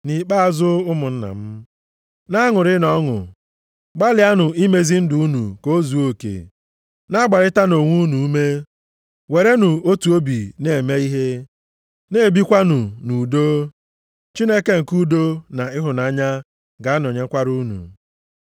Nʼikpeazụ ụmụnna m, na-aṅụrịnụ ọṅụ. Gbalịanụ nʼimezi ndụ unu ka o zuo oke, na-agbarịta onwe ume, werenụ otu obi na-eme ihe, na-ebikwanụ nʼudo. Chineke nke udo na ịhụnanya ga-anọnyekwara unu.